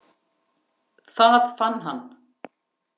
Það fann hann.